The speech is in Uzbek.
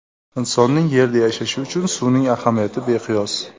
Insonning Yerda yashashi uchun suvning ahamiyati beqiyos.